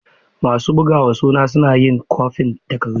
Masu bugawa suna yin kwafin takardu.